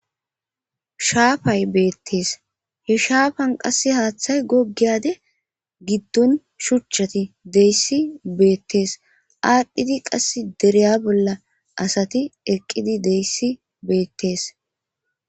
Shaafay beettees he shaafan qasse haaththay gogiyade giddon shuchchati deyssi beettees aadhdhidi qass dereya bolla asati eqqidi deyssi beettees.